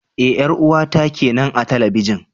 Eh 'yar uwata kenan a talabijin.